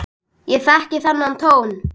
Ég þekki þennan tón.